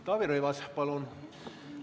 Taavi Rõivas, palun!